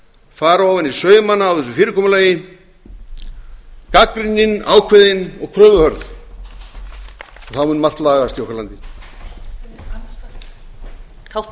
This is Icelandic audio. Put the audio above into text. fara ofan í saumana á þessu fyrirkomulagi gagnrýnin ákveðin og kröfuhörð þá mun margt lagast í okkar landi